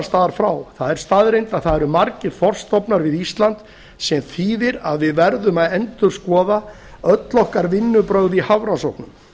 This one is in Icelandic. staðar frá það er staðreynd að það eru margir þorskstofnar við ísland sem þýðir að við verðum að endurskoða öll okkar vinnubrögð í hafrannsóknum